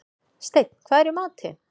Steinn, hvað er í matinn?